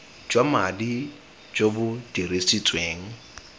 jwa madi jo bo dirisitsweng